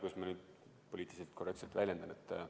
Kuidas ma nüüd peaks poliitiliselt korrektselt väljenduma?